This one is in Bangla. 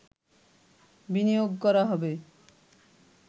বিনিয়োগ করা হবে